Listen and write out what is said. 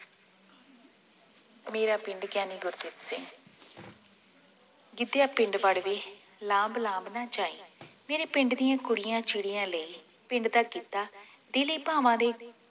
ਮੇਰਾ ਪਿੰਡ ਗ੍ਯਾਨੀ ਗੁਰਜੀਤ ਸਿੰਘ ਗਿਦੇਆ ਪਿੰਡ ਵੜਦੀ ਲਾਂਬ ਲਾਂਬ ਨਾ ਜਾਈਂ ਮੇਰੇ ਪਿੰਡ ਦੀਆਂ ਕੁੜੀਆਂ ਚਿੜੀਆਂ ਲਈ ਪਿੰਡ ਦਾ ਗਿੱਧਾ ਦਿਲੇ ਭਾਵਾਂ ਦੇ